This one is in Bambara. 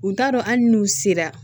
U t'a dɔn hali n'u sera